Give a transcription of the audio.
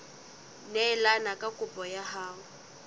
neelane ka kopo ya hao